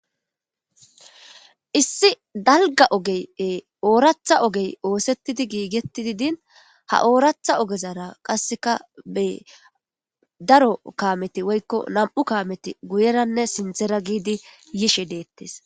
issi dalga ogeye ooratha ogey oosettidi giigetidi din ha ooratha ogezara qasseka be daro kaameti woykko nam7u kaameti guyeranne sindera giidi yishe deettes